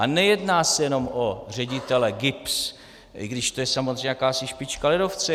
A nejedná se jenom o ředitele GIBS, i když to je samozřejmě jakási špička ledovce.